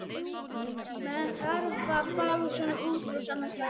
Maður þarf að fá svona útrás annað slagið.